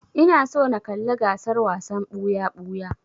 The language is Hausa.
Ina so na kalla gasar wasan ɓuya-ɓuya.